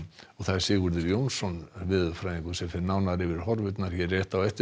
Sigurður Jónsson veðurfræðingur fer nánar yfir horfurnar hér rétt á eftir